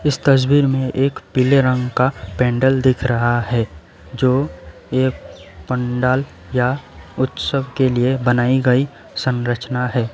इस तस्वीर में एक पीले रंग का पेंडल दिख रहा है जो एक पंडाल या उत्सव के लिए बनाई गई संरचना है।